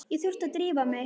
Ég þurfti að drífa mig.